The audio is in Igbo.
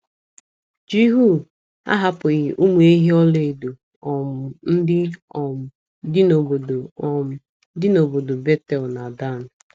Jihu ‘ ahapụghị ụmụ ehi ọlaedo um ndị um dị n'obodo um dị n'obodo Betel na Dan. ’